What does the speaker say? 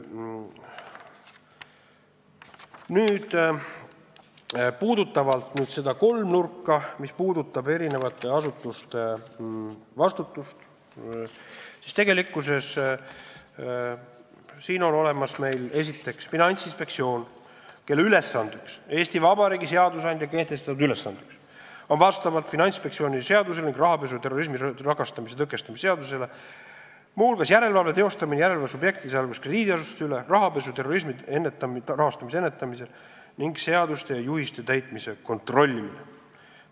Nüüd, mis puudutab seda kolmnurka, eri asutuste vastutust, siis meil on olemas esiteks Finantsinspektsioon, kellele Eesti Vabariigi seadusandja on Finantsinspektsiooni seadusega ning rahapesu ja terrorismi rahastamise tõkestamise seadusega teinud ülesandeks muu hulgas järelevalve teostamise järelevalveobjektide, sh riigiasutuste üle, samuti rahapesu ja terrorismi rahastamise ennetamise seaduse ja asjaomaste juhiste täitmise kontrollimise.